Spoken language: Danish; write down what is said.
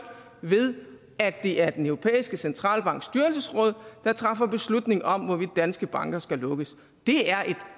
ved at det er den europæiske centralbanks styrelsesråd der træffer beslutning om hvorvidt danske banker skal lukkes det er